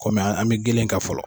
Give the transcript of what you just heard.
an be gelen kan fɔlɔ.